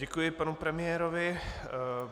Děkuji panu premiérovi.